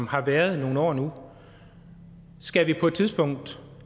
har været i nogle år nu skal vi på et tidspunkt